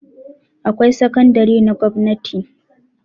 Akwai sakandare na gwanti